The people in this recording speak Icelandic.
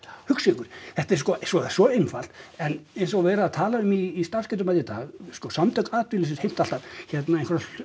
hugsið ykkur þetta er sko svo svo einfalt en eins og er verið að tala um í starfsgetumati í dag sko Samtök atvinnulífsins heimta alltaf hérna